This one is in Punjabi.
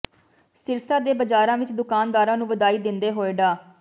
ਸਿਰਸਾ ਦੇ ਬਾਜ਼ਾਰਾਂ ਵਿੱਚ ਦੁਕਾਨਦਾਰਾਂ ਨੂੰ ਵਧਾਈ ਦਿੰਦੇ ਹੋਏ ਡਾ